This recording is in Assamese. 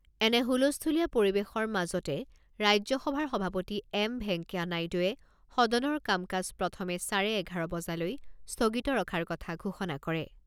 এনে হুলস্থূলীয়া পৰিৱেশৰ মাজতে ৰাজ্যসভাৰ সভাপতি এম ভেংকায়া নাইডুৱে সদনৰ কামকাজ প্ৰথমে চাৰে এঘাৰ বজালৈ স্থগিত ৰখাৰ কথা ঘোষণা কৰে।